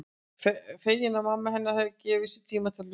Fegin að mamma hennar hefur gefið sér tíma til að hlusta.